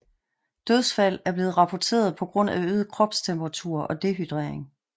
Dødsfald er blevet rapporteret på grund af øget kropstemperatur og dehydrering